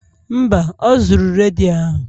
Mba, o zuru redio ahụ